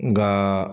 Nka